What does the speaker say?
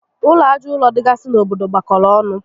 Ụlọ aja ụrọ dịgasị n'obodo gbakọrọ ọnụ